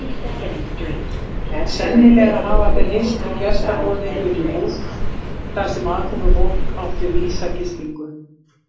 Sennilega hafa þeir hist í gestaboði Unuhúss þar sem aðkomufólk átti vísa gistingu.